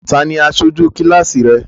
Ta ni aṣojú kíláàsì rẹ?